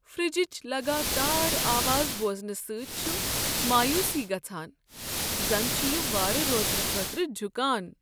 فرجچ لگاتار آواز بوزنہٕ سۭتۍ چھ مایوسی گژھان، زن چھ یِہ وارٕ روزنہٕ خٲطرٕ جکھان۔